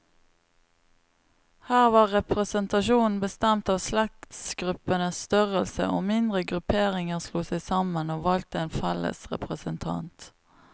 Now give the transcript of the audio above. Her var representasjonen bestemt av slektsgruppenes størrelse, og mindre grupperinger slo seg sammen, og valgte en felles representant.